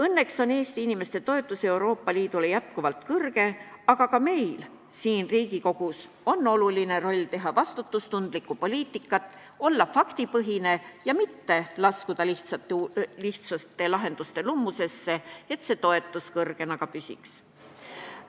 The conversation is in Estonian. Õnneks on Eesti inimeste toetus Euroopa Liidule jätkuvalt suur, aga ka meil siin Riigikogus, tehes vastutustundlikku poliitikat, olles faktipõhine ja mitte sattudes lihtsate lahenduste lummusesse, on oluline roll selles, et see toetus suurena ka püsiks.